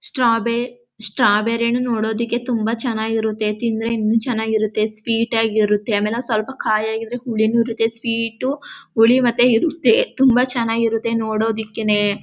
ಸ್ಟ್ರಾಬೆ strawberry ಹಣ್ಣು ನೋಡೋದಿಕ್ಕೆ ತುಂಬಾ ಚೆನ್ನಾಗ್ ಇರುತ್ತೆ ತಿಂದ್ರೆ ಇನ್ನು ಚೆನ್ನಾಗ್ ಇರುತ್ತೆ ಸ್ವೀಟ್ ಆಗಿರುತ್ತೆ ಆಮೇಲ್ ಸ್ವಲ್ಪ ಕಾಯಿ ಆಗಿದ್ರೆ ಹುಳಿನು ಇರುತ್ತೆ ಸ್ವೀಟು ಹುಳಿ ಮತ್ತೆ ಇರುತ್ತೆ ತುಂಬಾ ಚೆನ್ನಾಗಿರುತ್ತೆ ನೋಡೋದಕ್ಕೇನೆ.